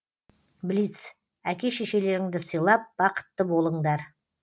блиц әке шешелеріңді сыйлап бақытты болыңдар